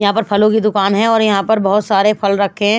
यहाँ पर फलों की दुकान है और यहाँ पर बहुत सारे फल रखे हैं।